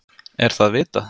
Er það vitað?